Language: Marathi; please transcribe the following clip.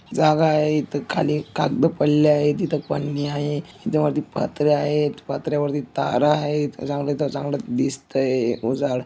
जागा आहे इथ खाली कागद पडले आहेत इथ पंन्या आहे इथ वरती पत्र्या आहेत पत्र्या वरती तार आहेत चांगल तर चांगल दिसतय उजाड़--